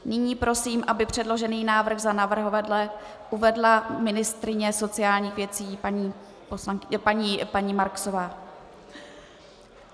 Nyní prosím, aby předložený návrh za navrhovatele uvedla ministryně sociálních věcí paní Marksová.